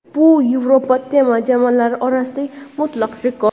Bu Yevropa terma jamoalari orasidagi mutlaq rekord.